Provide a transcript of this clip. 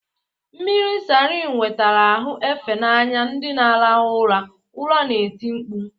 Mmiri salin wetara ahụ efe n'anya ndị na-arahụ ụra, ụra na-eti mkpu.